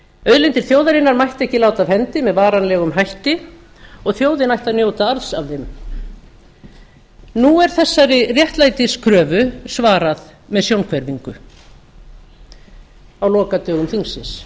auðlindir þjóðarinnar mætti ekki láta af hendi með varanlegum hætti og þjóðin ætti að njóta arðs af þeim nú er þeirri réttlætiskröfu svarað með sjónhverfingu á lokadögum þingsins